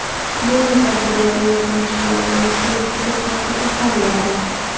bunday tadbirlar yoshlarimizga juda katta ilhom beradi.